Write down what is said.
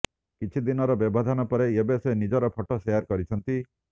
କିଛି ଦିନର ବ୍ୟବଧାନ ପରେ ଏବେ ସେ ନିଜର ଫଟୋ ସେୟାର କରିଛନ୍ତି